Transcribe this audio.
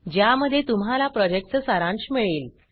ज्या मध्ये तुम्हाला प्रोजेक्ट चा सारांश मिळेल